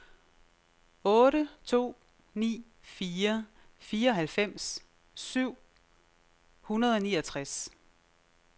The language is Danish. otte to ni fire fireoghalvfems syv hundrede og niogtres